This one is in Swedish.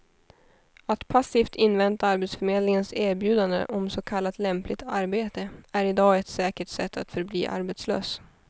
Att passivt invänta arbetsförmedlingens erbjudande om så kallat lämpligt arbete är i dag ett säkert sätt att förbli arbetslös.